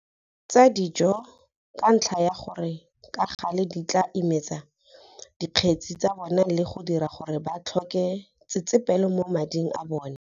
Tsa dijo - ka ntlha ya gore ka gale di tla imetsa dikgetsi tsa bona le go dira gore ba tlhoke tsetsepelo mo mading a bona.